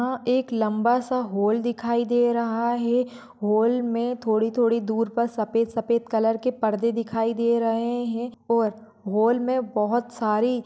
अ एक लंबासा हॉल दिखाई दे रहा है हॉल मे थोड़ी थोड़ी दुर पर सफ़ेद सफ़ेद कलर के पर्दे दिखाई दे रहे है और हॉल मे बहुत सारी--